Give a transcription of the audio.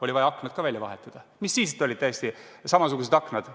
Oli vaja aknad ka välja vahetada, mis siis, et saadi täiesti samasugused aknad.